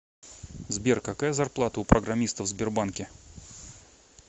сбер какая зарплата у программистов в сбербанке